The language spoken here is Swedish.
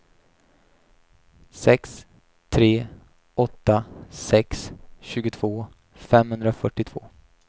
sex tre åtta sex tjugotvå femhundrafyrtiotvå